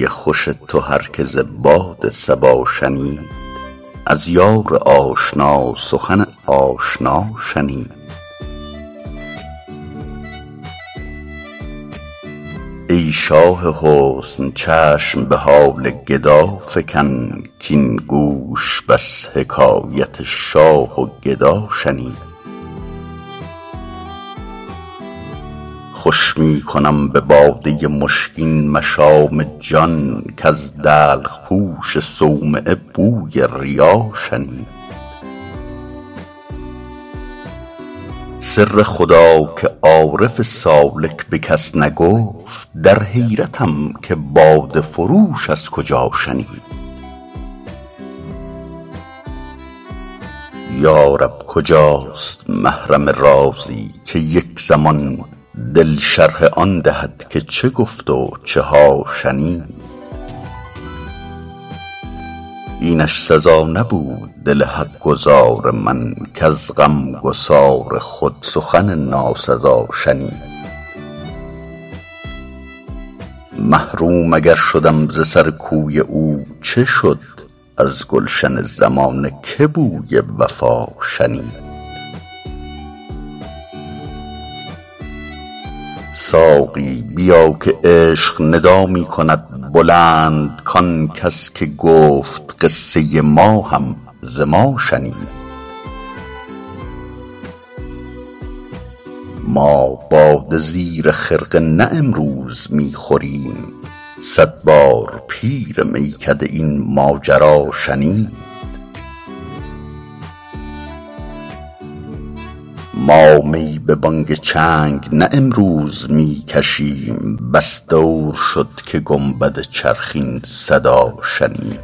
بوی خوش تو هر که ز باد صبا شنید از یار آشنا سخن آشنا شنید ای شاه حسن چشم به حال گدا فکن کـاین گوش بس حکایت شاه و گدا شنید خوش می کنم به باده مشکین مشام جان کز دلق پوش صومعه بوی ریا شنید سر خدا که عارف سالک به کس نگفت در حیرتم که باده فروش از کجا شنید یا رب کجاست محرم رازی که یک زمان دل شرح آن دهد که چه گفت و چه ها شنید اینش سزا نبود دل حق گزار من کز غمگسار خود سخن ناسزا شنید محروم اگر شدم ز سر کوی او چه شد از گلشن زمانه که بوی وفا شنید ساقی بیا که عشق ندا می کند بلند کان کس که گفت قصه ما هم ز ما شنید ما باده زیر خرقه نه امروز می خوریم صد بار پیر میکده این ماجرا شنید ما می به بانگ چنگ نه امروز می کشیم بس دور شد که گنبد چرخ این صدا شنید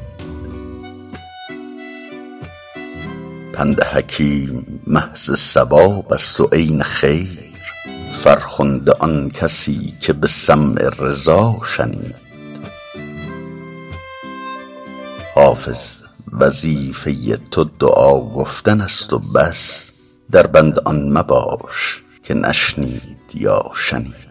پند حکیم محض صواب است و عین خیر فرخنده آن کسی که به سمع رضا شنید حافظ وظیفه تو دعا گفتن است و بس در بند آن مباش که نشنید یا شنید